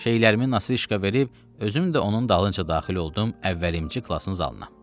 Şeylərimi nasışka verib özüm də onun dalınca daxil oldum əvvəlimci klasın zalına.